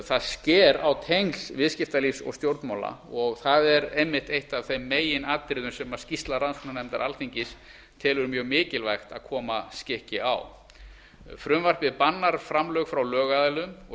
það sker á tengsl viðskiptalífs og stjórnmála og það er einmitt eitt af þeim meginatriðum sem skýrsla rannsóknarnefndar alþingis telur mjög mikilvægt að koma skikki á frumvarpið bannar framlög frá lögaðilum og